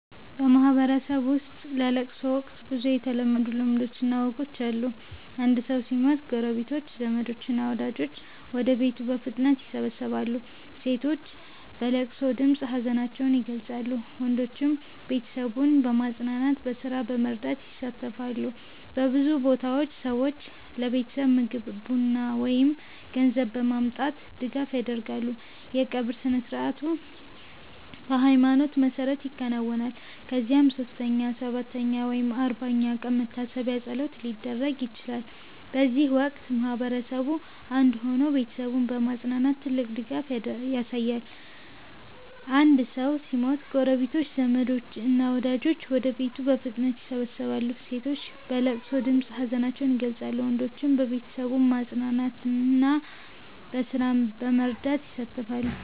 በማህበረሰብ ውስጥ በለቅሶ ወቅት ብዙ የተለመዱ ልማዶችና ወጎች አሉ። አንድ ሰው ሲሞት ጎረቤቶች፣ ዘመዶች እና ወዳጆች ወደ ቤቱ በፍጥነት ይሰበሰባሉ። ሴቶች በለቅሶ ድምፅ ሀዘናቸውን ይገልጻሉ፣ ወንዶችም ቤተሰቡን በማጽናናትና በስራ በመርዳት ይሳተፋሉ። በብዙ ቦታዎች ሰዎች ለቤተሰቡ ምግብ፣ ቡና ወይም ገንዘብ በማምጣት ድጋፍ ያደርጋሉ። የቀብር ስነ-ሥርዓቱ በሃይማኖት መሰረት ይከናወናል፣ ከዚያም 3ኛ፣ 7ኛ ወይም 40ኛ ቀን የመታሰቢያ ፀሎት ሊደረግ ይችላል። በዚህ ወቅት ማህበረሰቡ አንድ ሆኖ ቤተሰቡን በማጽናናት ትልቅ ድጋፍ ያሳያል። አንድ ሰው ሲሞት ጎረቤቶች፣ ዘመዶች እና ወዳጆች ወደ ቤቱ በፍጥነት ይሰበሰባሉ። ሴቶች በለቅሶ ድምፅ ሀዘናቸውን ይገልጻሉ፣ ወንዶችም ቤተሰቡን በማጽናናትና በስራ በመርዳት ይሳተፋሉ።